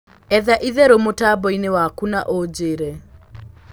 etha ĩtherũ mutamboini waku na unjiire